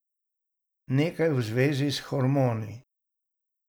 Nekaj v zvezi s hormoni.